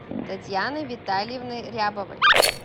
татьяной витальевной рябовой